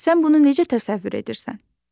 Sən bunu necə təsəvvür edirsən?